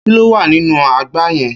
Kí ló wà nínú àgbá yẹn.